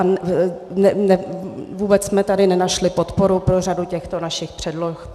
A vůbec jsme tady nenašli podporu pro řadu těchto našich předloh.